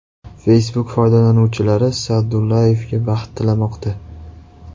Facebook foydalanuvchilari Sa’dullayevga baxt tilamoqda.